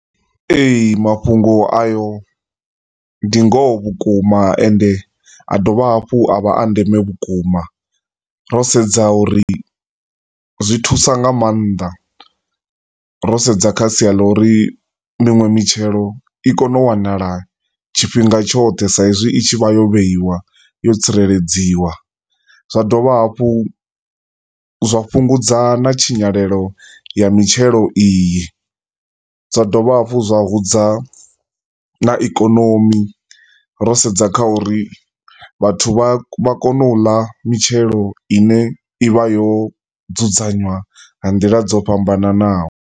Ee, mafhungo ayo ndi ngoho vhukuma ende a dovha hafho a vha a ndeme vhukuma ro sedza uri zwi thusa nga maanḓa, ro sendza kha sia la uri minwe mitshelo i kone u wanala tshifhinga tshoṱhe sa izwi i tshi vha yo vheiwa, yo tsireledziwa. Zwa dovha hafhu zwa fhungudza na tshinyalelo ya mitshelo iyi, zwa dovha hafhu zwa hudza na ikonimi ro sedza kha uri vhathu vha kone u la mitshelo ine ivha yo dzudzanywa nga ndila dzo fhambananaho.